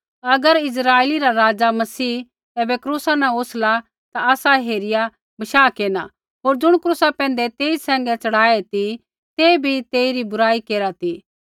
अगर इस्राइला रा राज़ा मसीह ऐबै क्रूसा न उतरला ता आसा हेरिया बशाह केरना होर ज़ुण क्रूसा पैंधै तेई सैंघै च़ढ़ाये ती ते भी तेइरी बुराई केरा ती